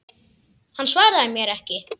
Hann svaraði mér ekki.